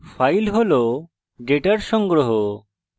file হল ডেটার সংগ্রহ